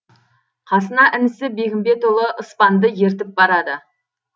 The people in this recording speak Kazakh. қасына інісі бегімбетұлы ыспанды ертіп барады